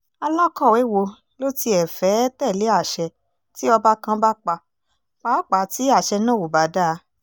alákọ̀wé wo ló tiẹ̀ fẹ́ẹ́ tẹ̀lé àṣẹ tí ọba kan bá pa pàápàá tí àṣẹ náà ò bá dáa